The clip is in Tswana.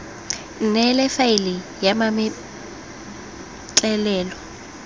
nne le faele ya mametlelelo